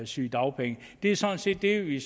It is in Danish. sygedagpenge det er sådan set det vi